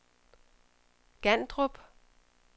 Gandrup